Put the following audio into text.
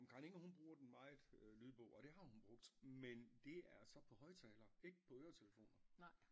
Jamen Karen Ingrid bruger den meget lydbog og det har hun brugt men det er så på højtaler ikke på øretelefoner